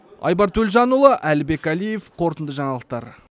айбар төлжанұлы әлібек алиев қорытынды жаңалықтар